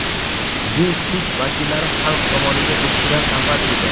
Bu kuch vakillari xalq tomoniga o‘tishidan avval edi.